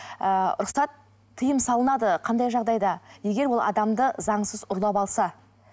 ыыы рұқсат тиым салынады қандай жағдайда егер ол адамды заңсыз ұрлап алса